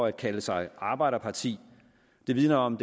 at kalde sig arbejderparti det vidner om